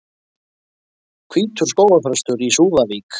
Hvítur skógarþröstur í Súðavík